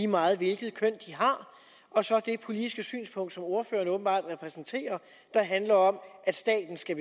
meget hvilket køn de har og så det politiske synspunkt som ordføreren åbenbart repræsenterer der handler om at staten skal